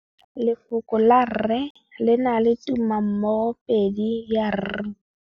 Lefoko la rre, le na le tumammogôpedi ya, r.